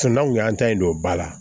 an kun y'an ta in don ba la